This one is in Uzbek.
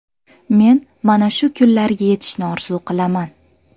Men mana shu kunlarga yetishni orzu qilaman.